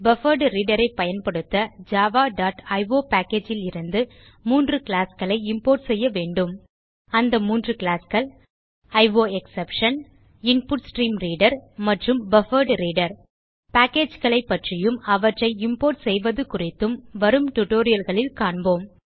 buffered reader ஐ பயன்படுத்த Java dot io packageலிருந்து 3 கிளாஸ் களை இம்போர்ட் செய்ய வேண்டும் அந்த 3 classகள் அயோஎக்ஸ்செப்ஷன் இன்புட்ஸ்ட்ரீம்ரீடர் மற்றும் பஃபர்ட்ரீடர் பேக்கேஜஸ் பற்றியும் அவற்றை இம்போர்ட் செய்வது குறித்தும் வரும் tutorialகளில் கபோம்